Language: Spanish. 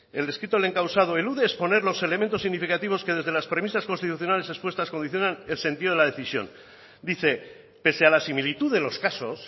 el escrito del encausado elude exponer los elementos significativos que desde las premisas constitucionales expuestas condicionan el sentido de la decisión dice pese a la similitud de los casos